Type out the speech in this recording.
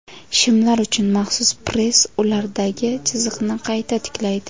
Shimlar uchun maxsus press ulardagi chiziqni qayta tiklaydi.